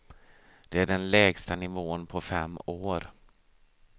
Det är den lägsta nivån på fem år.